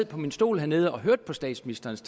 på min stol hernede og hørt på statsministerens